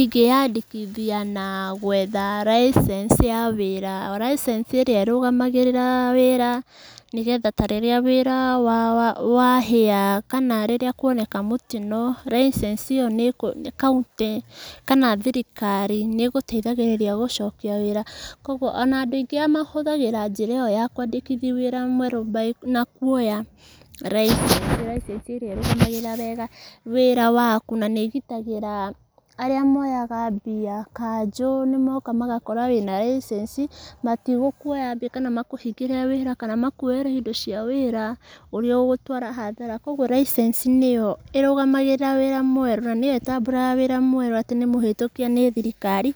Ingĩ yandĩkithia na gwetha license ya wĩra, license ĩrĩa ĩrũgamagĩrĩra wĩra, nĩgetha ta rĩrĩa wĩra wahĩa kana ta rĩrĩa kuoneka mũtino license ĩyo kana thirikari nĩ ĩgũteithagĩrĩria gũcokia wĩra. Koguo ona andũ aingĩ mahũthagĩra njĩra ĩyo ya kwandĩkithia wĩra mwerũ na kuoya license, license ĩrĩa ĩrũgamagĩrĩra wĩra waku. Na nĩĩgitagĩra arĩa moyaga mbia, kanjũ nĩmoka nĩgakora wĩ na license matigũkuoya mbia, kana makũhingĩre wĩra, kana makuyere indo cia wĩra, ũrĩa ũgũtwara hathara. Koguo license nĩ yo ĩrũgamagĩrĩra wĩra mwerũ na nĩyo ĩtambũraga wĩra mwerũ atĩ nĩ mũhĩtũkie nĩ thirikari